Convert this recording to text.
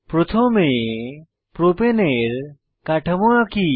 প্রথমে প্রোপেন এর কাঠামো আঁকি